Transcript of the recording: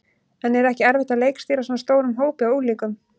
En er ekki erfitt að leikstýra svona stórum hópi af unglingum?